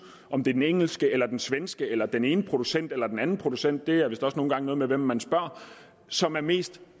om det er den engelske eller den svenske eller den ene producent eller den anden producent det har vist også nogle gange noget med hvem man spørger som er mest